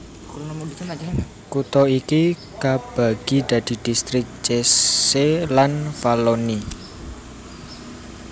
Kutha iki kabagi dadi distrik Cese lan Valloni